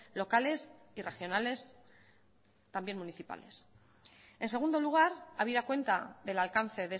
locales y regionales también municipales en segundo lugar habida cuenta del alcance